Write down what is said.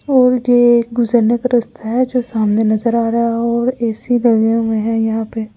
और ये एक गुजरने का रास्ता है जो सामने नजर आ रहा है और ऐ _सी लगे हुए हैं यहां पे--